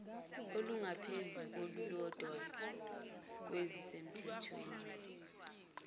olungaphezu kolulodwa kwezisemthethweni